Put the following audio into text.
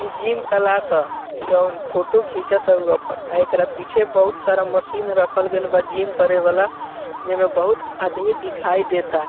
इ gym class हअ जोन फोटो घिचता उ आपन अ एकरा पीछे बहुत सारा मशीन रखल गेइल बा जिम करे वाला जे मअ बहुत आदमी दिखाई देता।